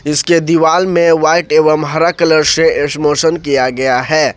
इसके दीवाल में व्हाइट एवं हरा कलर से स्मोशन किया गया है।